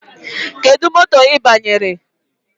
Kedụ moto ị banyere?